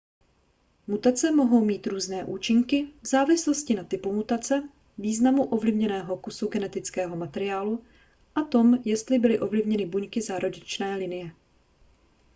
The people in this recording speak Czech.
mutace mohou mít různé účinky v závislosti na typu mutace významu ovlivněného kusu genetického materiálu a tom jestli byly ovlivněny buňky zárodečné linie